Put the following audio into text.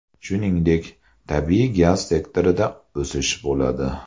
Shuningdek, tabiiy gaz sektorida o‘sish bo‘ladi.